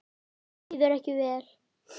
Líður ekki vel.